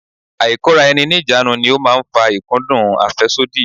Ailekoraeni-ni-ijanu ni ó máa ń fa ikudun afesodi.